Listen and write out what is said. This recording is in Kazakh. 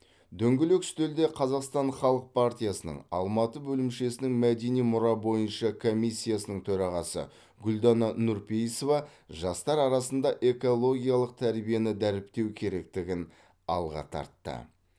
дөңгелек үстелде қазақстан халық партиясының алматы бөлімшесінің мәдени мұра бойынша комиссиясының төрағасы гүлдана нұрпейісова жастар арасында экологиялық тәрбиені дәріптеу керектігін алға тартты